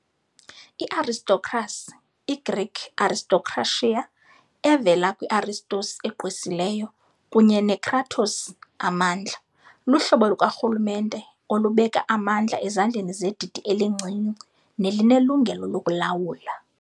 I-Aristocracy, i-Greek ἀριστοκρατία "aristokratía", evela kwi-ἄριστος "aristos" "egqwesileyo", kunye ne-κράτος "kratos" "amandla", luhlobo lukarhulumente olubeka amandla ezandleni zedidi elincinci nelinelungelo lokulawula.